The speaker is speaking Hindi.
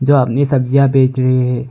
जो अपनी सब्जियां बेच रहे हैं।